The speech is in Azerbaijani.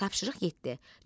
Tapşırıq yeddi.